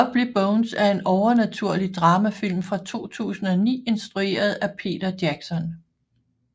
The Lovely Bones er en overnaturlig dramafilm fra 2009 instrueret af Peter Jackson